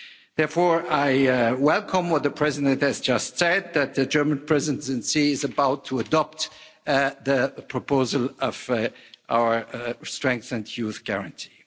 Therefore I welcome what the President has just said, that the German Presidency is about to adopt the proposal of our strengthened Youth Guarantee.